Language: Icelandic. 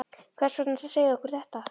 Hvers vegna ertu að segja okkur þetta?